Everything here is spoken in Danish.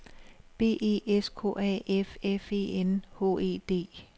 B E S K A F F E N H E D